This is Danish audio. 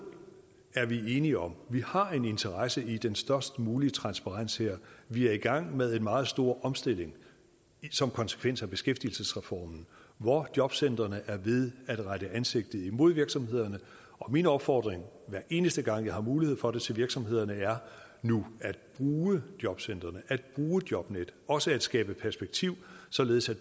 er vi enige om vi har en interesse i den størst mulige transparens her vi er i gang med en meget stor omstilling som konsekvens af beskæftigelsesreformen hvor jobcentrene er ved at rette ansigtet imod virksomhederne min opfordring hver eneste gang jeg har mulighed for det til virksomhederne er nu at bruge jobcentrene at bruge jobnet også at skabe perspektiv således at